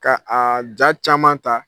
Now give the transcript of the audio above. Ka a ja caman ta